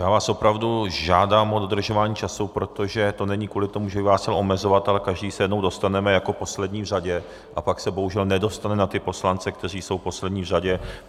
Já vás opravdu žádám o dodržování času, protože to není kvůli tomu, že bych vás chtěl omezovat, ale každý se jednou dostaneme jako poslední v řadě a pak se bohužel nedostane na ty poslance, kteří jsou poslední v řadě.